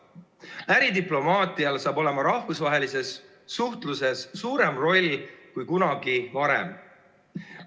Äridiplomaatial hakkab rahvusvahelises suhtluses olema suurem roll kui kunagi varem.